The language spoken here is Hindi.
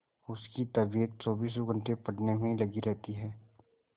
उसकी तबीयत चौबीसों घंटे पढ़ने में ही लगी रहती है